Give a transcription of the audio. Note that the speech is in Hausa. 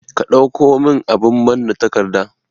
Ka ɗauko min abun manna takarda